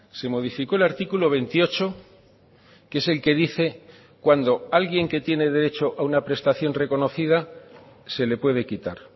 se modificó el artículo veintiocho que es el que dice cuando alguien que tiene derecho a una prestación reconocida se le puede quitar